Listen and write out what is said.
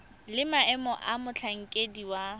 le maemo a motlhankedi wa